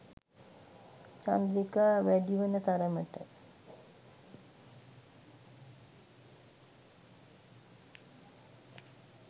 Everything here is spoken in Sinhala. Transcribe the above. චන්ද්‍රිකා වැඩි වන තරමට